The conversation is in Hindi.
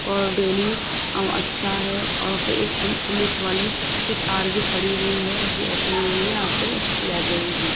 और डेली अच्छा है और फिर ये एम पुलिस वाले की कार भी खड़ी हुई है यहां पे इसकी लाइब्रेरी भी --